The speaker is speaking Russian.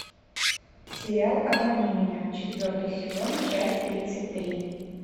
сериал обмани меня четвертый сезон часть тридцать три